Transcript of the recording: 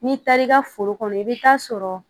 N'i taar'i ka foro kɔnɔ i bɛ taa sɔrɔ